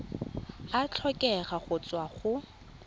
a tlhokega go tswa go